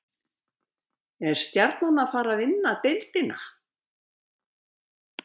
Er Stjarnan að fara að vinna deildina?